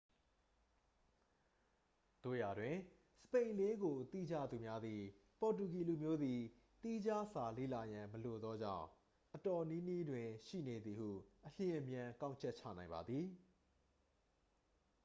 သို့ရာတွင် စပိန်လေးကို သိကြသူများသည် ပေါ်တူဂီလူမျိုးသည် သီးခြားစာလေ့လာရန် မလိုသောကြောင့် အတော်နီးနီးတွင် ရှိနေသည်ဟု အလျင်အမြန် ကောက်ချက်ချနိုင်ပါသည်